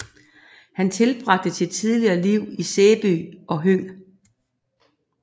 Han tilbragte sit tidlige liv i Sæby og Høng